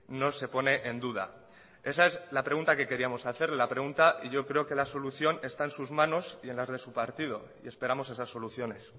no se pone en duda esa es la pregunta que queríamos hacerle la pregunta y yo creo que la solución está en sus manos y en las de su partido y esperamos esas soluciones